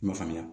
I m'a faamuya